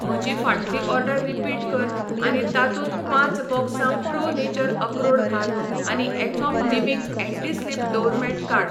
म्हजी फाटली order repeat कर आनी तातूंत पांच बॉक्सां प्रो नेचर अक्रोड घाल आनी Athom living anti slip door mat काड.